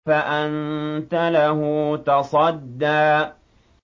فَأَنتَ لَهُ تَصَدَّىٰ